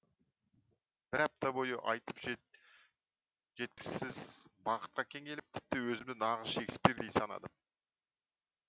бір апта бойы айтып жеткізсіз бақытқа кенеліп тіпті өзімді нағыз шекспирдей санадым